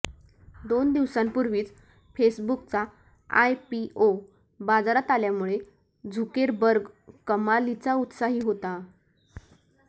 दोन दिवसांपूर्वीच फेसबुकचा आयपीओ बाजारात आल्यामुळे झुकेरबर्ग कमालीचा उत्साही होता